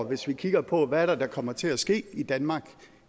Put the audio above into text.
hvis vi kigger på hvad det er der kommer til at ske i danmark